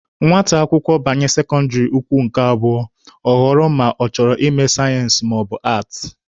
Nwata akwụkwọ banye sekọndịrị ukwu nke abụọ, ọ ghọrọ ma ọ chọrọ ịme sayensị maọbụ aatị.